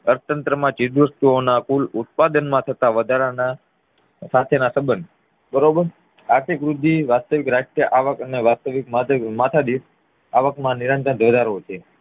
અર્થતંત્ર માં ચીજવસ્તુ ના કુલ ઉત્પાદન માં થતા વધારાના સાથેનાસબંધ બરોબર. આર્થિક વૃદ્ધિ, વાસ્તવિક રાષ્ટ્રીય આવક વાસ્તવિક માથાદીઠ આવક માં નિયંત્રણ ઘટાડો છે